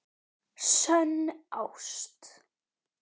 SÖNN ÁST.